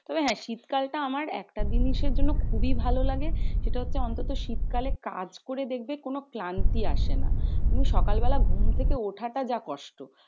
তবে হ্যাঁ শীতকালটা আমার একটা জিনিসের জন্য খুবই ভালো লাগে। সেটা হচ্ছে অন্তত শীতকালে কাজ করে দেখবে, কোনো ক্লান্তি আসে না। শুধু সকালবেলায় ঘুম থেকে ওঠ তা যা কষ্ট।